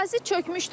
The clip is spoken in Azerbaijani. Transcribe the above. Ərazi çökmüşdü.